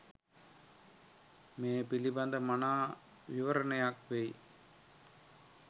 මේ පිළිබඳ මනා විවරණයක් වෙයි.